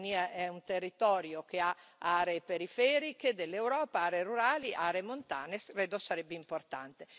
La Romania è un territorio che ha aree periferiche dell'Europa, aree rurali, aree montane, credo sarebbe importante.